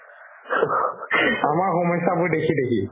আমাৰ সমস্যাবোৰ দেখি দেখি